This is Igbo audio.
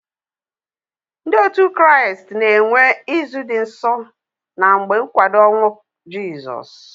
Ndi otu kraist na enwe izu di nsọ na mgbe nkwado onwụ jisọs